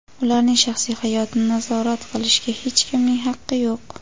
Ularning shaxsiy hayotini nazorat qilishga hech kimning haqqi yo‘q.